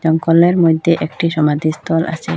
গলের মইধ্যে একটি সমাধিস্থল আছে।